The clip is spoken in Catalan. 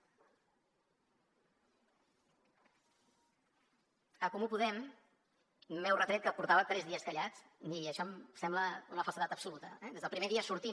en comú podem m’heu retret que portava tres dies callat i això em sembla una falsedat absoluta eh des del primer dia sortim